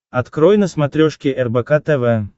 открой на смотрешке рбк тв